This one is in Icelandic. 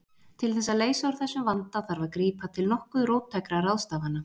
Til þess að leysa úr þessum vanda þarf að grípa til nokkuð róttækra ráðstafana.